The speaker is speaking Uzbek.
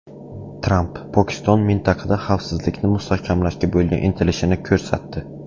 Tramp: Pokiston mintaqada xavfsizlikni mustahkamlashga bo‘lgan intilishini ko‘rsatdi.